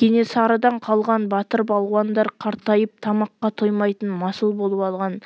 кенесарыдан қалған батыр-балуандар қартайып тамаққа тоймайтын масыл болып алған